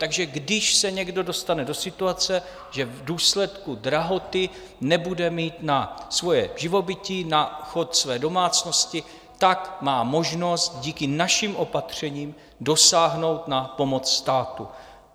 Takže když se někdo dostane do situace, že v důsledku drahoty nebude mít na svoje živobytí, na chod své domácnosti, tak má možnost díky našim opatřením dosáhnout na pomoc státu.